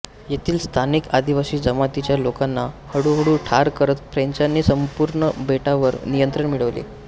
येथील स्थानिक आदिवासी जमातीच्या लोकांना हळूहळू ठार करत फ्रेंचानी संपूर्ण बेटावर नियंत्रण मिळवले